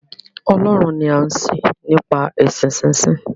Ọlọ́run ni a ń sìn nípa èsìn sí sìn